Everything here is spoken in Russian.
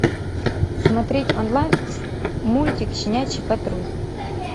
смотреть онлайн мультик щенячий патруль